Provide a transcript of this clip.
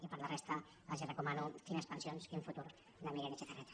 i per la resta els recomano quines pensions quin futur de miren etxezarreta